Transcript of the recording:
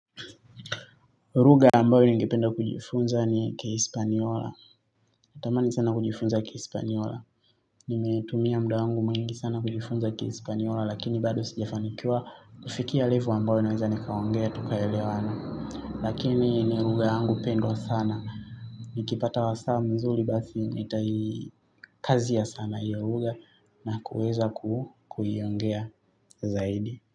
Lugha ambayo ningependa kujifunza ni kispanyola. Natamani sana kujifunza kispanyola. Nimeitumia muda wangu mwingi sana kujifunza kispanyola lakini bado sijafanikiwa kufikia level ambayo naweza nikaongea tukaelewana. Lakini ni lugha yangu pendwa sana. Nikipata wa saa mzuri basi nitai kazi ya sanaa ya lugha na kuweza kuiongea zaidi.